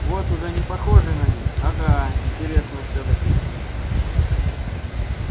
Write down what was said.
вот уже не похоже на них ага интересно всё-таки